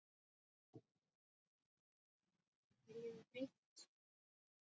Við viljum breyta þessu.